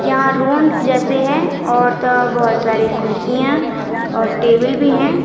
यहां राउंड जैसे है और त बहोत सारी कुर्सियां और टेबल भी है।